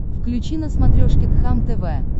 включи на смотрешке кхлм тв